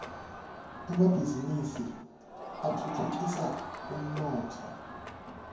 emabhiznnisi atfutfukisa umnotfo